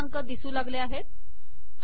आता नवीन क्रमांक दिसू लागले